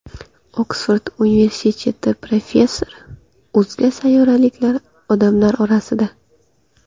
Oksford universiteti professori: O‘zga sayyoraliklar odamlar orasida.